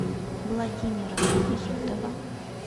владимира изотова